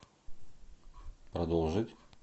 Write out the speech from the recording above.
продолжить